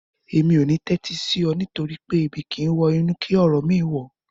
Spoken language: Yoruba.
Mi ò ní tẹ́tí sí ọ nítorí pé "Ebi kìí wọ inú kí ọ̀rọ̀ mìíràn wọ̀ ọ́"